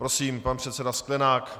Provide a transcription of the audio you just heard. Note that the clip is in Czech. Prosím, pan předseda Sklenák.